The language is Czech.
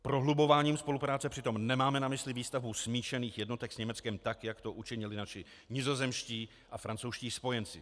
Prohlubováním spolupráce přitom nemáme na mysli výstavbu smíšených jednotek s Německem tak, jak to učinili naši nizozemští a francouzští spojenci.